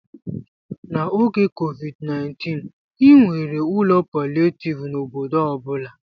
N'oge COVID-19, e nwere ụlọ palịetivu n'obodo ọ bụla.